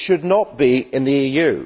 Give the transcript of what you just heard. It should not be in the EU.